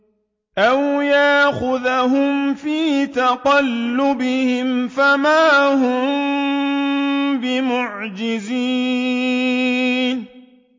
أَوْ يَأْخُذَهُمْ فِي تَقَلُّبِهِمْ فَمَا هُم بِمُعْجِزِينَ